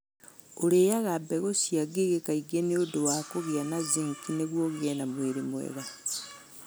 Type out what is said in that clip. Ũrĩaga mbegũ cia ngigĩ kaingĩ nĩ ũndũ wa kũgĩa na zinki nĩguo ũgĩe na mwĩrĩ mwega.